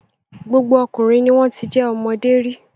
Gbogbo ọkùnrin ni wọ́n ti jẹ́ ọmọdé rí.